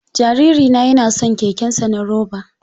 Jariri na yana son kekensa na roba.